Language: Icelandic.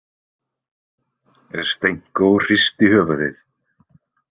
Stenko hristi höfuðið.